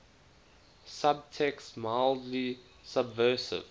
subtext mildly subversive